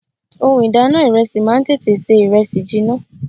Ohun ìdáná ìrẹsì máa ń tètè ṣe ìrẹsì jiná.